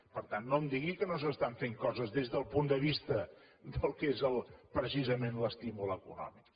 per tant no em digui que no s’estan fent coses des del punt de vista del que és precisament l’estímul econòmic